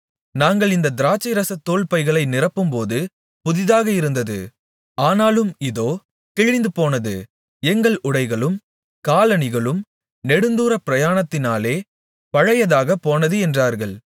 நாங்கள் இந்தத் திராட்சைரசத் தோல்பைகளை நிரப்பும்போது புதிதாக இருந்தது ஆனாலும் இதோ கிழிந்துபோனது எங்கள் உடைகளும் காலணிகளும் நெடுந்தூர பிரயாணத்தினாலே பழையதாகப்போனது என்றார்கள்